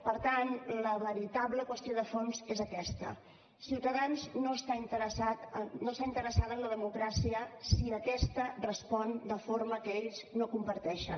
per tant la veritable qüestió de fons és aquesta ciutadans no està interessada en la democràcia si aquesta respon de forma que ells no comparteixen